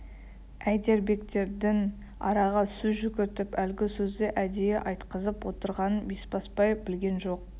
әйдербектердің араға сөз жүгіртіп әлгі сөзді әдейі айтқызып отырғанын бесбасбай білген жоқ